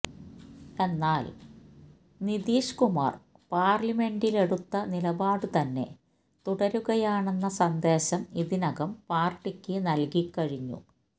എന്നാൽ നിതീഷ് കുമാർ പാർലമെന്റിലെടുത്ത നിലപാട് തന്നെ തുടരുകയാണെന്ന സന്ദേശം ഇതിനകം പാർട്ടിക്ക് നൽകിക്കഴിഞ്ഞു